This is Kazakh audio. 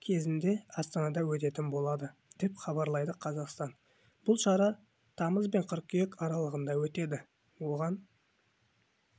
кезінде астанада өтетін болады деп хабарлайды қазақстан бұл шара тамыз бен қыркүйек аралығында өтеді оған